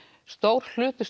stór hluti